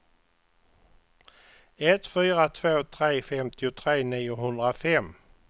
ett fyra två tre femtiotre niohundrafem